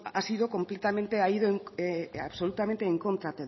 ha sido completamente ha ido absolutamente en contra